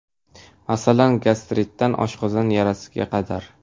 Masalan, gastritdan oshqozon yarasiga qadar.